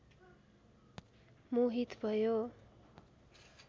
मोहित भयो